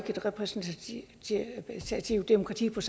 det repræsentative demokrati og